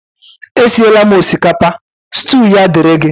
Esiela m osikapa, stew a dịịrị gi